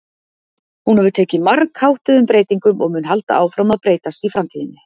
Hún hefur tekið margháttuðum breytingum og mun halda áfram að breytast í framtíðinni.